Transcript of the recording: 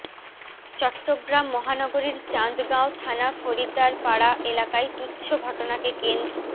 চট্টগ্রাম মহানগরীর চান্দগাঁও থানা ফরিদারপাড়া এলাকায় তুচ্ছ ঘটনাকে কেন্দ্